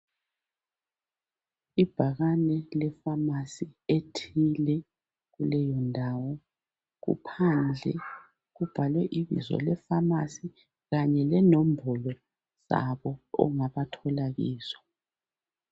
Ibhakane lepharmacy ethile kuleyo ndawo, kuphandle kubhalwe ibizo laleyo pharmacy kanye lenombolo zabo ongabathola kizo.